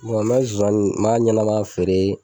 Wa me zonzanin m'a ɲɛnama feere